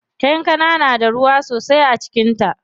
Kankana na da ruwa sosai a cikin ta.